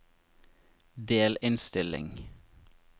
delinnstilling